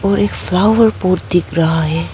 और एक flower pot दिख रहा है।